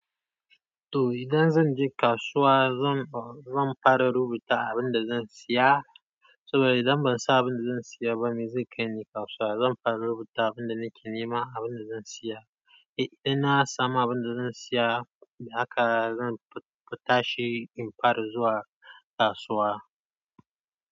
To, idan zan je kasuwa, zan fara rubuta abin da zan siya, saboda idan ban san abin da zan siya ba me zai kai ni kasuwa? Zan fara rubuta abin da nake nema, abin da zan siya. Eh, inna na samu abin da zan siya, haka zan ta shi in fara zuwa kasuwa.